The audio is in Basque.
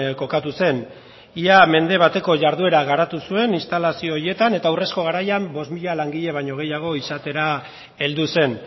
kokatu zen ia mende bateko jarduera garatu zuen instalazio horietan eta urrezko garaian bost mila langile baino gehiago izatera heldu zen